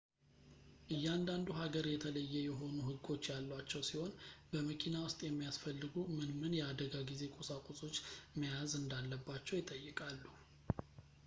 እያንዳንዱ ሀገር የተለየ የሆኑ ህጎች ያሏቸው ሲሆን በመኪና ውስጥ የሚያስፈልጉ ምን ምን የአደጋ ጊዜ ቁሳቁሶች መያዝ እንዳለባቸው ይጠይቃሉ